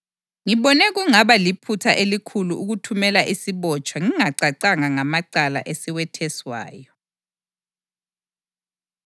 Ngibona kungaba liphutha elikhulu ukuthumela isibotshwa ngingacacanga ngamacala esiwetheswayo.”